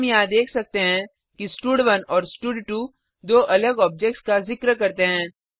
हम यहाँ देख सकते हैं कि स्टड1 और स्टड2 दो अलग ऑब्जेक्ट्स का जिक्र करते हैं